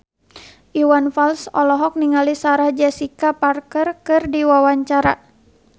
Iwan Fals olohok ningali Sarah Jessica Parker keur diwawancara